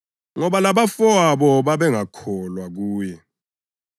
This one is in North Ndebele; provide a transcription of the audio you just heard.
Ngoba labafowabo babengakholwa kuye.